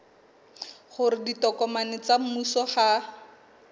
hore ditokomane tsa mmuso ha